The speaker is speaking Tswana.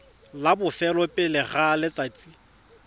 la bofelo pele ga letsatsi